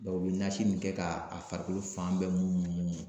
u bɛ nasi min kɛ ka a farikolo fan bɛɛ